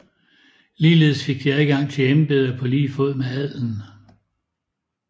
Ligeledes fik de adgang til embeder på lige fod med adelen